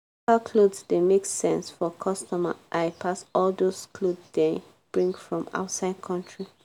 local cloth dey make sense for customer eye pass all dos cloth dey bring from outside country.